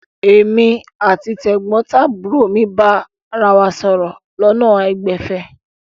Èmi àti tẹ̀gbọ́ntàbúrò mi bára wa sọ̀rọ̀ lọ́nà àìgbẹ̀fẹ̀.